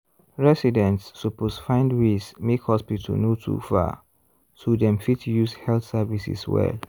residents suppose find ways make hospital no too far so dem fit use health services well.